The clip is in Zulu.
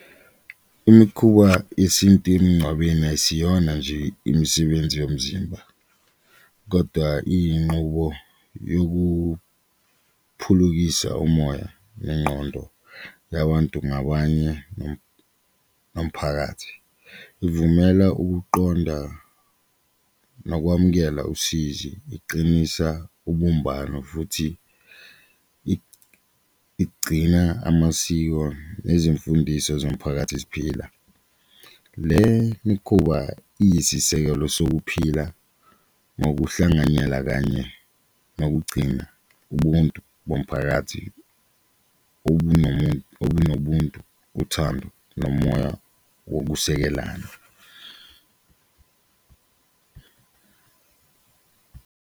Imikhuba yesintu emingcwabeni ayisiyona nje imisebenzi yomzimba kodwa iyinqubo yokuphulukisa umoya nengqondo yabantu ngabanye nomphakathi, ivumela ukuqonda nokwamukela usizi, iqinisa ubumbano futhi igcina amasiko nezimfundiso zomphakathi ziphila. Le mikhuba iyisisekelo sokuphila ngokuhlanganyela kanye nokugcina ubuntu bomphakathi obunobuntu, uthando, nomoya wokusekelana.